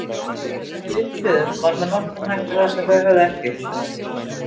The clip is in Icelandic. Það sem við upplifðum var með nokkrum hætti það sem þau höfðu ekki upplifað.